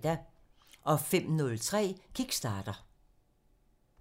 05:03: Kickstarter (Afs. 42)